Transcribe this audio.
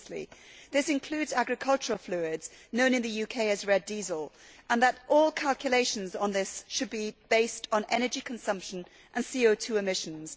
The latter include agricultural fluids, known in the UK as red diesel, and the principle that all calculations on this should be based on energy consumption and CO 2 emissions.